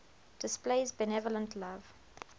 displays benevolent love